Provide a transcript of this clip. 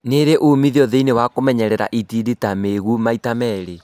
Nĩirĩ umithio thĩinĩ wa kũnyerera itindiĩ ta mĩigũ maita merĩ